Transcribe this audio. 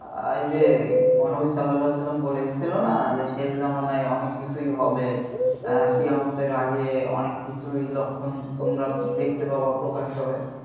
আহ এই যে মহানবী সাল্লাল্লাহু আলাইহি ওয়াসাল্লাম বলে গিয়েছিল না শেষ জামানায় অনেক কিছুই হবে কেয়ামতের আগে অনেক কিছুই লক্ষণ তোমরা দেখতে পাবা প্রকাশ পাবে